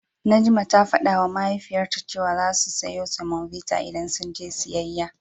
Najma ta fadawa Mahaifiyarta cewa zasu siyo semobita idan sun je siyayya.